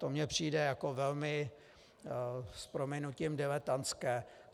To mi přijde jako velmi, s prominutím, diletantské.